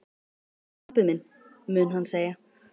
Hvar er pabbi minn? mun hann segja.